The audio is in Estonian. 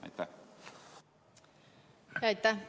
Aitäh!